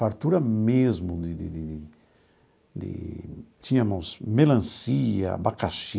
Fartura mesmo de de de de de... Tínhamos melancia, abacaxi...